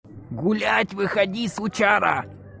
гулять выходи сучара